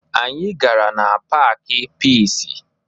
Anyị gara na paakị Piisi